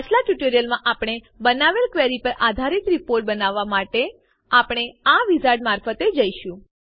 પાછલાં ટ્યુટોરીયલમાં આપણે બનાવેલ ક્વેરી પર આધારીત રીપોર્ટ બનાવવા માટે આપણે આ વિઝાર્ડ મારફતે જઈશું